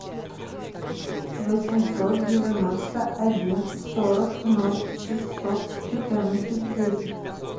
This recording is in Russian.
восемьсот девяносто один сорок ноль шестьсот четырнадцать десять